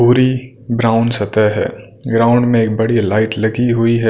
पूरी ब्राउन सतह है ग्राउंड में एक बड़ी लाइट लगी हुई है।